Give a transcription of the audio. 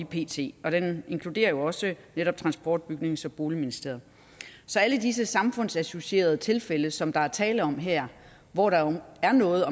pt og den inkluderer jo også netop transport bygnings og boligministeriet så alle disse samfundsassocierede tilfælde som der er tale om her hvor der jo er noget